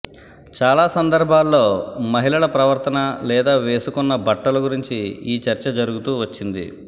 చాలా సందర్భాల్లో మహిళల ప్రవర్తన లేదా వేసుకున్న బట్టల గురించి ఈ చర్చ జరుగుతూ వచ్చింది